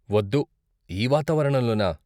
వద్దు, ఈ వాతావరణంలోనా?